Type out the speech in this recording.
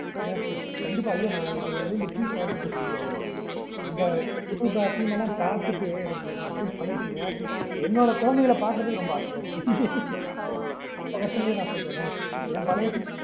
yes yes கண்டிப்பா ஐயோ I am looking forward to see you all மா இந்த புது பா team எல்லாம் பாத்திட்டு எனக்கு நீங்க atleast பழைய team என்னோட குழந்தைகளை பாக்கிறதுக்கு ரொம்ப அசைய இருக்கு அந்த பசங்கட்டயே நா சொல்றனே